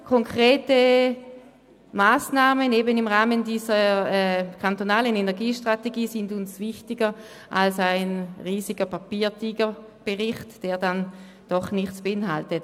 Konkrete Massnahmen im Rahmen dieser kantonalen Energiestrategie sind uns wichtiger als ein riesiger Papiertiger in Form eines Berichts, der dann doch nichts beinhaltet.